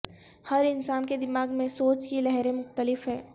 ہر انسان کے دماغ میں سوچ کی لہریں مختلف ہیں